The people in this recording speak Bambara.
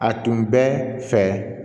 A tun bɛ fɛ